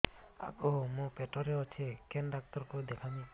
ଆଗୋ ମୁଁ ପେଟରେ ଅଛେ କେନ୍ ଡାକ୍ତର କୁ ଦେଖାମି